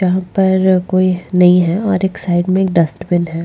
जहाँ पर कोई नहीं है और एक साइड में डस्टबिन एक --